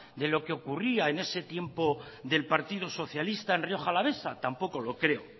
de lo que ocurría en ese tiempo del partido socialista en rioja alavesa tampoco lo creo